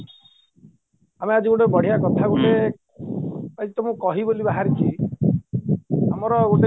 ଆମେ ଆଜି ବଢିୟା କଥା ଗୋଟେ ଆଜି ତୁମକୁ କହିବିବୋଲି ବାହାରିଛି ତମର ଗୋଟେ